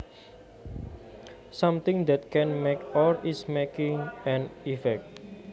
Something that can make or is making an effect